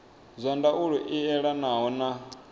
zwa ndaulo i elanaho na